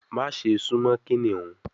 Maṣe sun mo kiniun